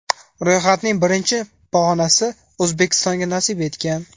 Ro‘yxatning birinchi pog‘onasi O‘zbekistonga nasib etgan.